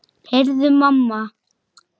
Heyrðu mamma!